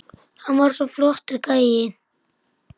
Hann var svo flottur gæi.